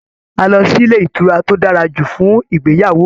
A lọ sílé ìtura tó dára jù fún ìgbéyàwó mí.